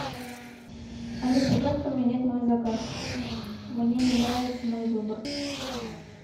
алиса как поменять мой заказ мне не нравится мой выбор